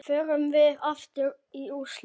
Förum við aftur í úrslit?